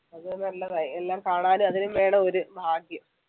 അത് നല്ലതാ എല്ലാം കാണാനും അതിനും വേണം ഒരു ഭാഗ്യം